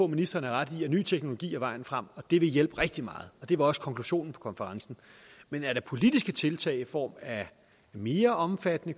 ministeren har ret i at ny teknologi er vejen frem og at det vil hjælpe rigtig meget og det var også konklusionen på konferencen men er der politiske tiltag i form af mere omfattende